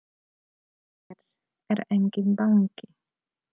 Hér er enginn banki!